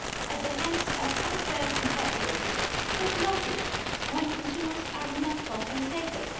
at the hands of unfair competitors who profit when consumers are not compensated?